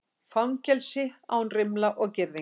Fangelsi án rimla og girðinga